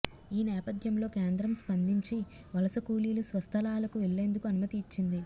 ఈ నేపథ్యంలో కేంద్రం స్పందించి వలస కూలీలు స్వస్థలాలకు వెళ్లేందుకు అనుమతి ఇచ్చింది